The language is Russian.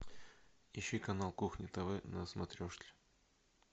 ищи канал кухня тв на смотрешке